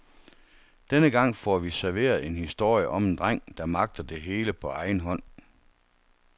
Denne gang får vi serveret en historie om en dreng, der magter det hele på egen hånd.